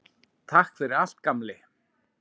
Takk fyrir allt, gamli.